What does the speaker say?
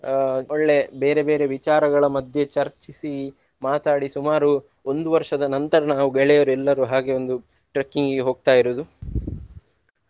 ಅಹ್ ಒಳ್ಳೆ ಬೇರೆ ಬೇರೆ ವಿಚಾರಗಳ ಮಧ್ಯೆ ಚರ್ಚಿಸಿ ಮಾತಾಡಿ ಸುಮಾರು ಒಂದು ವರ್ಷದ ನಂತರ ನಾವು ಗೆಳೆಯರೆಲ್ಲರೂ ಹಾಗೆ ಒಂದು trekking ಗೆ ಹೋಗ್ತಾ ಇರುದು.